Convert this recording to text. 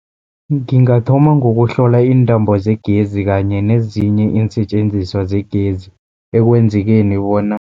Ngingathoma ngokuhlola iintambo zegezi kanye nezinye iinsetjenziswa zegezi ekwenzekeni bona.